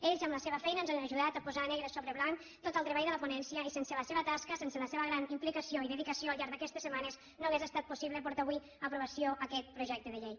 ells amb la seva feina ens han ajudat a posar negre sobre blanc tot el treball de la ponència i sense la seva tasca sense la seva gran implicació i dedicació al llarg d’aquestes setmanes no hauria estat possible portar avui a aprovació aquest projecte de llei